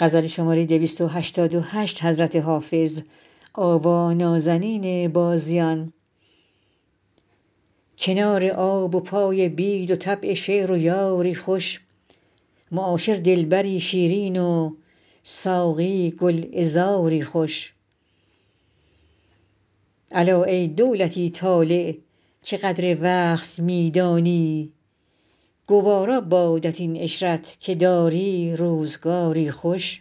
کنار آب و پای بید و طبع شعر و یاری خوش معاشر دلبری شیرین و ساقی گلعذاری خوش الا ای دولتی طالع که قدر وقت می دانی گوارا بادت این عشرت که داری روزگاری خوش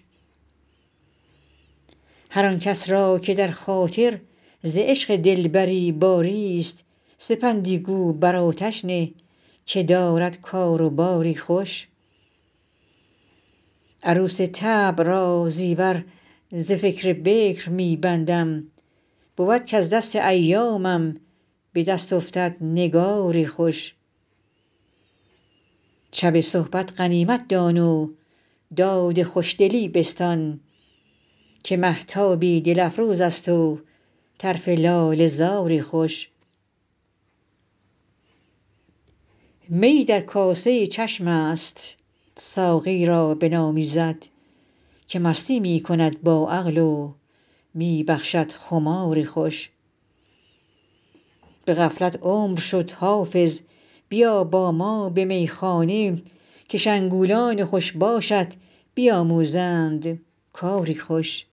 هر آن کس را که در خاطر ز عشق دلبری باریست سپندی گو بر آتش نه که دارد کار و باری خوش عروس طبع را زیور ز فکر بکر می بندم بود کز دست ایامم به دست افتد نگاری خوش شب صحبت غنیمت دان و داد خوشدلی بستان که مهتابی دل افروز است و طرف لاله زاری خوش میی در کاسه چشم است ساقی را بنامیزد که مستی می کند با عقل و می بخشد خماری خوش به غفلت عمر شد حافظ بیا با ما به میخانه که شنگولان خوش باشت بیاموزند کاری خوش